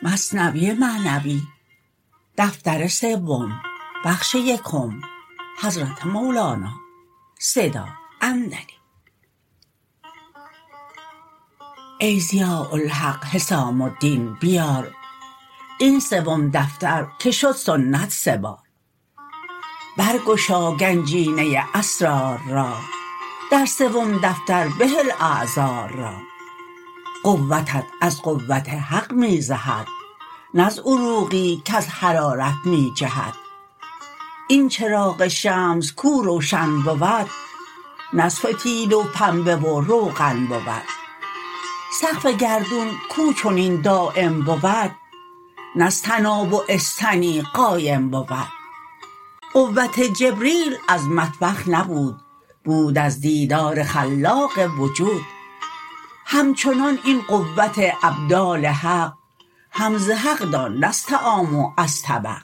ای ضیاء الحق حسام الدین بیار این سوم دفتر که سنت شد سه بار بر گشا گنجینه اسرار را در سوم دفتر بهل اعذار را قوتت از قوت حق می زهد نه از عروقی کز حرارت می جهد این چراغ شمس کو روشن بود نه از فتیل و پنبه و روغن بود سقف گردون کو چنین دایم بود نه از طناب و استنی قایم بود قوت جبریل از مطبخ نبود بود از دیدار خلاق وجود همچنان این قوت ابدال حق هم ز حق دان نه از طعام و از طبق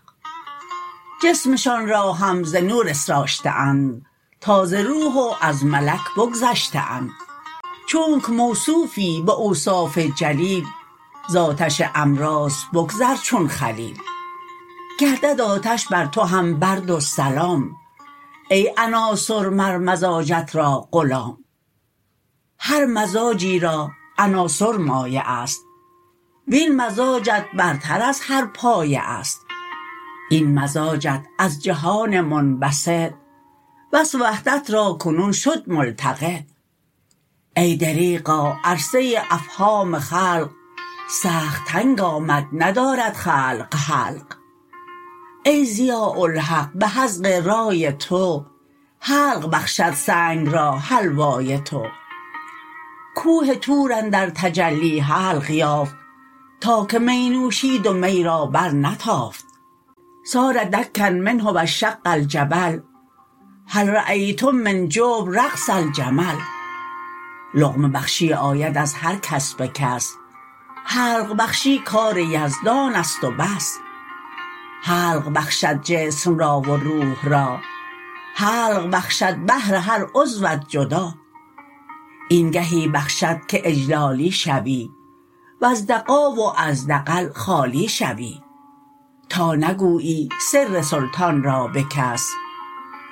جسمشان را هم ز نور اسرشته اند تا ز روح و از ملک بگذشته اند چونک موصوفی به اوصاف جلیل ز آتش امراض بگذر چون خلیل گردد آتش بر تو هم برد و سلام ای عناصر مر مزاجت را غلام هر مزاجی را عناصر مایه است وین مزاجت برتر از هر پایه است این مزاجت از جهان منبسط وصف وحدت را کنون شد ملتقط ای دریغا عرصه افهام خلق سخت تنگ آمد ندارد خلق حلق ای ضیاء الحق به حذق رای تو حلق بخشد سنگ را حلوای تو کوه طور اندر تجلی حلق یافت تا که می نوشید و می را بر نتافت صار دکا منه وانشق الجبل هل رایتم من جبل رقص الجمل لقمه بخشی آید از هر کس به کس حلق بخشی کار یزدانست و بس حلق بخشد جسم را و روح را حلق بخشد بهر هر عضوت جدا این گهی بخشد که اجلالی شوی وز دغا و از دغل خالی شوی تا نگویی سر سلطان را به کس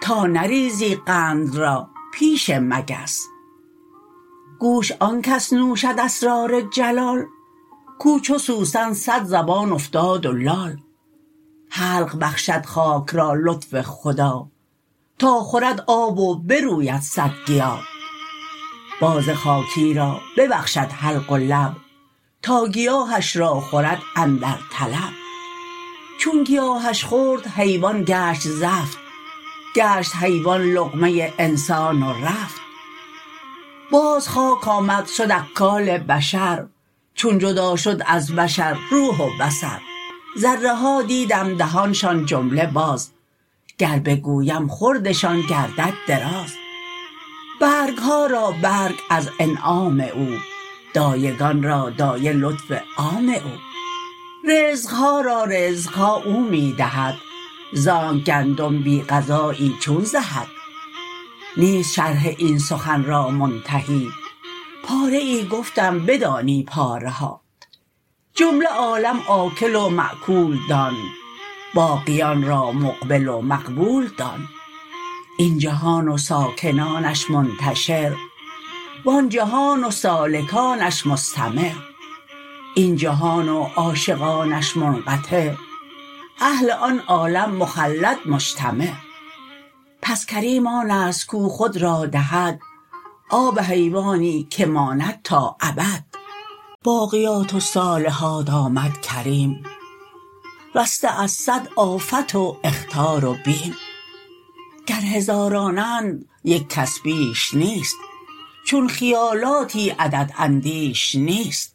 تا نریزی قند را پیش مگس گوش آنکس نوشد اسرار جلال کو چو سوسن صدزبان افتاد و لال حلق بخشد خاک را لطف خدا تا خورد آب و بروید صد گیا باز خاکی را ببخشد حلق و لب تا گیاهش را خورد اندر طلب چون گیاهش خورد حیوان گشت زفت گشت حیوان لقمه انسان و رفت باز خاک آمد شد اکال بشر چون جدا شد از بشر روح و بصر ذره ها دیدم دهانشان جمله باز گر بگویم خوردشان گردد دراز برگها را برگ از انعام او دایگان را دایه لطف عام او رزقها را رزقها او می دهد زانک گندم بی غذایی چون زهد نیست شرح این سخن را منتهی پاره ای گفتم بدانی پاره ها جمله عالم آکل و ماکول دان باقیان را مقبل و مقبول دان این جهان و ساکنانش منتشر وان جهان و سالکانش مستمر این جهان و عاشقانش منقطع اهل آن عالم مخلد مجتمع پس کریم آنست کو خود را دهد آب حیوانی که ماند تا ابد باقیات الصالحات آمد کریم رسته از صد آفت و اخطار و بیم گر هزارانند یک کس بیش نیست چون خیالاتی عدد اندیش نیست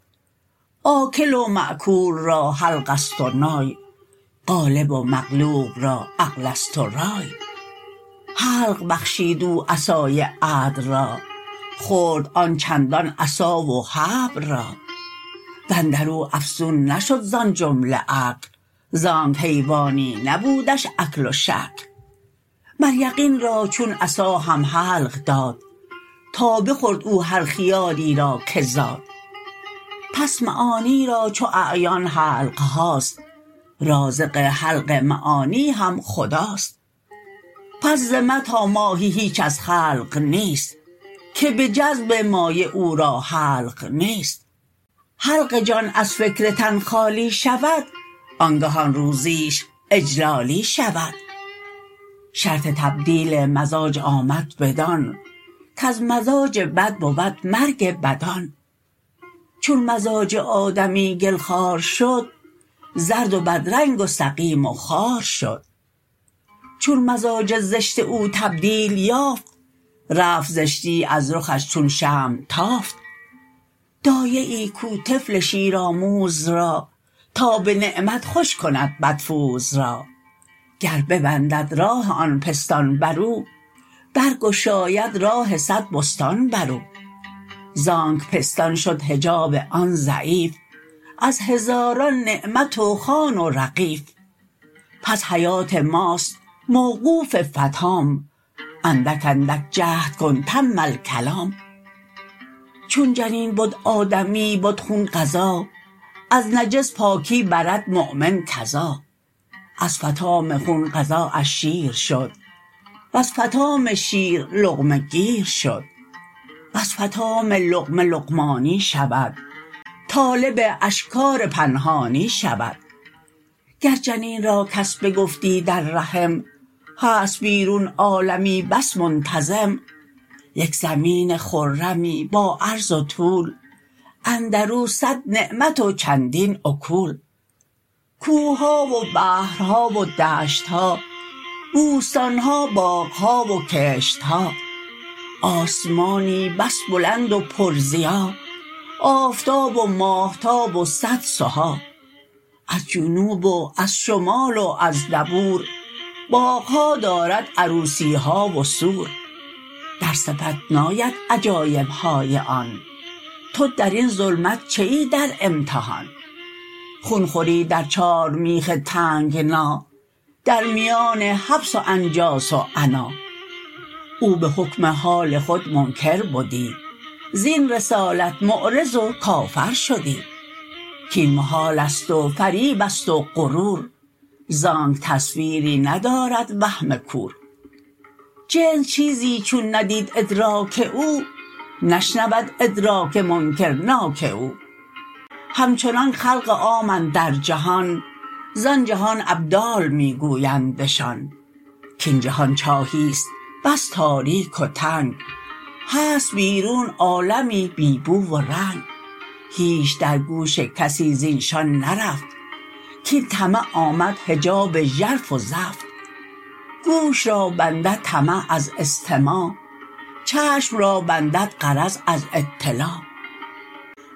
آکل و ماکول را حلقست و نای غالب و مغلوب را عقلست و رای حلق بخشید او عصای عدل را خورد آن چندان عصا و حبل را واندرو افزون نشد زان جمله اکل زانک حیوانی نبودش اکل و شکل مر یقین را چون عصا هم حلق داد تا بخورد او هر خیالی را که زاد پس معانی را چو اعیان حلقهاست رازق حلق معانی هم خداست پس ز مه تا ماهی هیچ از خلق نیست که به جذب مایه او را حلق نیست حلق جان از فکر تن خالی شود آنگهان روزیش اجلالی شود شرط تبدیل مزاج آمد بدان کز مزاج بد بود مرگ بدان چون مزاج آدمی گل خوار شد زرد و بدرنگ و سقیم و خوار شد چون مزاج زشت او تبدیل یافت رفت زشتی از رخش چون شمع تافت دایه ای کو طفل شیرآموز را تا به نعمت خوش کند پدفوز را گر ببندد راه آن پستان برو برگشاید راه صد بستان برو زانک پستان شد حجاب آن ضعیف از هزاران نعمت و خوان و رغیف پس حیات ماست موقوف فطام اندک اندک جهد کن تم الکلام چون جنین بد آدمی بد خون غذا از نجس پاکی برد مؤمن کذا از فطام خون غذااش شیر شد وز فطام شیر لقمه گیر شد وز فطام لقمه لقمانی شود طالب اشکار پنهانی شود گر جنین را کس بگفتی در رحم هست بیرون عالمی بس منتظم یک زمینی خرمی با عرض و طول اندرو صد نعمت و چندین اکول کوهها و بحرها و دشتها بوستانها باغها و کشتها آسمانی بس بلند و پر ضیا آفتاب و ماهتاب و صد سها از جنوب و از شمال و از دبور باغها دارد عروسیها و سور در صفت ناید عجایبهای آن تو درین ظلمت چه ای در امتحان خون خوری در چارمیخ تنگنا در میان حبس و انجاس و عنا او به حکم حال خود منکر بدی زین رسالت معرض و کافر شدی کین محالست و فریبست و غرور زانک تصویری ندارد وهم کور جنس چیزی چون ندید ادراک او نشنود ادراک منکرناک او همچنانک خلق عام اندر جهان زان جهان ابدال می گویندشان کین جهان چاهیست بس تاریک و تنگ هست بیرون عالمی بی بو و رنگ هیچ در گوش کسی زیشان نرفت کین طمع آمد حجاب ژرف و زفت گوش را بندد طمع از استماع چشم را بندد غرض از اطلاع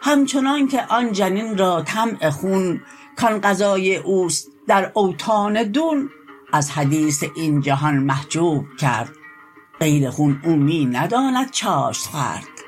همچنانک آن جنین را طمع خون کان غذای اوست در اوطان دون از حدیث این جهان محجوب کرد غیر خون او می نداند چاشت خورد